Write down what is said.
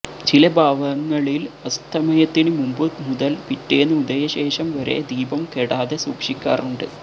ചില ഭവങ്ങളില് അസ്തമയത്തിന് മുമ്പുമുതല് പിറ്റേന്ന് ഉദയശേഷം വരെ ദീപം കെടാതെ സൂക്ഷിക്കാറുണ്ട്